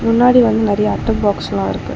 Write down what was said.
முன்னாடி வந்து நெறையா அட்ட பாக்ஸ்லா இருக்கு.